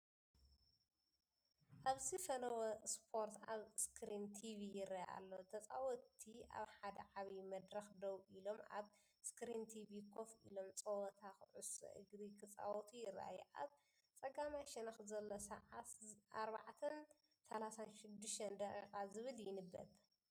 ኣብዚ ፈነወ ስፖርት ኣብ ስክሪን ቲቪ ይርአ ኣሎ። ተጻወትቲ ኣብ ሓደ ዓቢ መድረኽ ደው ኢሎም ኣብ ስክሪን ቲቪ ኮፍ ኢሎም ጸወታ ኩዕሶ እግሪ ክጻወቱ ይረኣዩ። ኣብ ጸጋማይ ሸነኽ ዘሎ ሰዓት 04፡36 ዝብል ይንበብ።